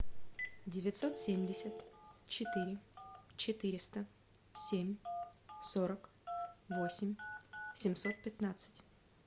девятьсот семьдесят четыре четыреста семь сорок восемь семьсот пятнадцать